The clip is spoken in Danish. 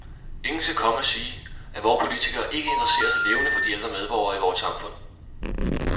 Ingen skal komme og sige, at vore politikere ikke interesserer sig levende for de ældre medborgere i vort samfund.